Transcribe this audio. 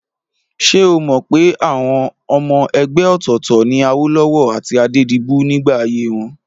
Ṣé o mọ̀ pé ọmọ ẹgbẹ́ òtọ̀ọ̀tọ̀ ni Awólọ́wọ̀ àti Adédibú nígbà ayé wọn?